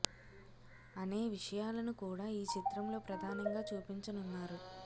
అనే విషయాలను కూడా ఈ చిత్రంలో ప్రధానంగా చూపించనున్నారు